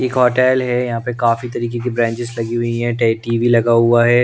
एक होटेल हैं यहाँ पे काफी तरीके की ब्रांचेस लगी हुई हैं टीवी लगा हुआ हैं ।